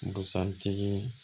Busan tigi